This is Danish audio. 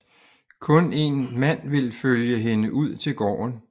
Kun en mand vil følge hende ud til gården